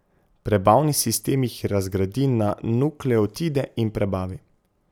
Prebavni sistem jih razgradi na nukleotide in prebavi.